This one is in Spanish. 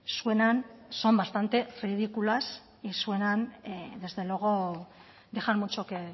suenan son bastante ridículas y suenan desde luego dejan mucho que